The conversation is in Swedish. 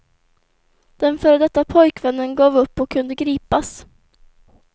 Den före detta pojkvännen gav upp och kunde gripas.